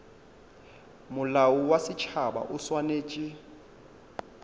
molao wa setšhaba o swanetše